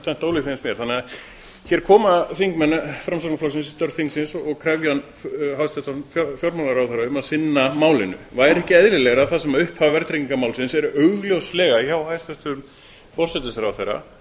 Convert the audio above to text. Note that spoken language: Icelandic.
tvennt ólíkt finnst mér hér koma þingmenn framsóknarflokksins í störf þingsins og krefja hæstvirtan fjármálaráðherra um að sinna málinu væri ekki eðlilegra þar sem upphaf verðtryggingarmálsins er augljóslega hjá hæstvirtum forsætisráðherra